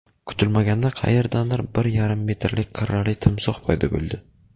Kutilmaganda qayerdandir bir yarim metrlik qirrali timsoh paydo bo‘ldi.